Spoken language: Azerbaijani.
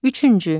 Üçüncü.